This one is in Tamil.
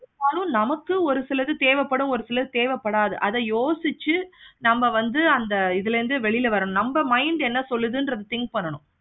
நமக்கு ஒரு சில இது தேவைப்படும். ஒரு சிலது தேவைப்படாது. அத யோசிச்சி நம்ம வந்து அந்த இதுல இருந்து வெளிய வரணும். நம்ப mind என்ன சொல்லுதுன்றதா think பண்ணனும்.